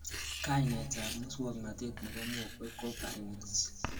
kainetab muswognotet nebo mokwek ko pharynx